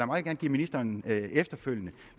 meget gerne give ministeren efterfølgende